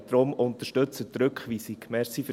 Daher: Unterstützen Sie die Rückweisung.